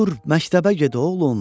Dur, məktəbə get oğlum.